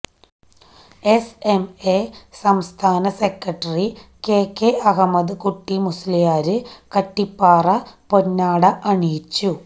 S M A സംസ്ഥാന secretary K K Ahammad Kutty Musliyar Kattippara പൊന്നാട അണിയിച്ചു